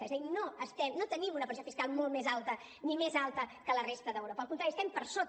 és a dir no tenim una pressió fiscal molt més alta ni més alta que la resta d’europa al contrari estem per sota